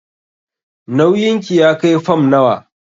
Nauyin ki ya kai fam nawa?